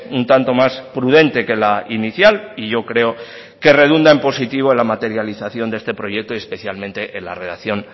un tanto más prudente que la inicial y yo creo que redunda en positivo en la materialización de este proyecto y especialmente en la redacción